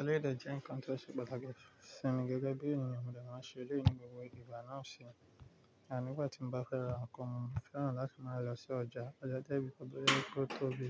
Eléyìí dẹ jẹ́ nǹkan tó ṣẹ pàtàkì sí mi gẹ́gẹ́ bí ènìyàn. Mo dẹ̀ máa ń ṣe eléyìí ní gbogbo ìgbà náà sì, àní nígbà tí mo bá fẹ́ ra nǹkan, mo fẹ́ràn láti máa lọ sí ọjà. Ọjà jẹ́ ibi tó jẹ pé ó tó bí,